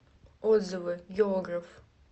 отзывы географ